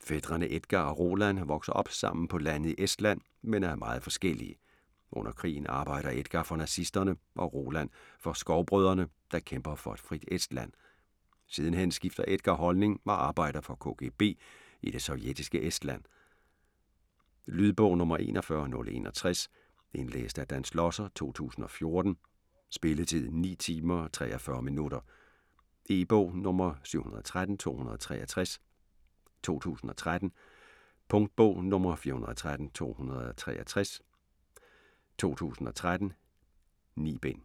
Fætrene Edgar og Roland vokser op sammen på landet i Estland men er meget forskellige. Under krigen arbejder Edgar for nazisterne og Roland for Skovbrødrene, der kæmper for et frit Estland. Sidenhen skifter Edgar holdning og arbejder for KGB i det sovjetiske Estland. Lydbog 41061 Indlæst af Dan Schlosser, 2014. Spilletid: 9 timer, 43 minutter. E-bog 713263 2013. Punktbog 413263 2013. 9 bind.